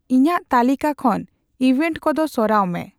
ᱤᱧᱟᱹᱜ ᱛᱟᱞᱤᱠᱟ ᱠᱷᱚᱱ ᱤᱣᱵᱷᱮᱱ ᱠᱚᱫᱚ ᱥᱚᱨᱟᱣ ᱢᱮ